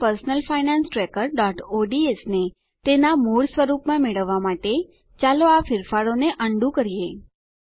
આપણી personal finance trackerઓડ્સ ને તેનાં મૂળ સ્વરૂપમાં મેળવવા માટે ચાલો આ ફેરફારોને અન ડૂ કરીએ